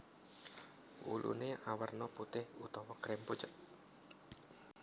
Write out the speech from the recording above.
Wuluné awerna putih utawa krem pucet